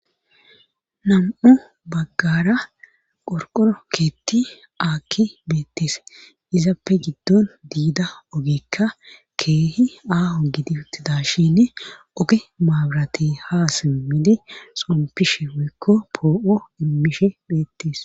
nam7u baggara qorqoro keetti aakki beetties izappe giddon diida ogekka keehi aaho gidi uttida shinne oge maabirati ha simmidi xompishe woykko poo7o immishe beettes